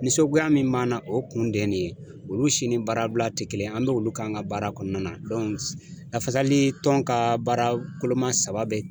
Ninsɔgoya min b'an na , o kun de ye nin ye , olu si ni baarabila tɛ kelen ye, an bɛ olu k'an ka baara kɔnɔna na lafasalitɔn ka baara koloma saba bɛɛ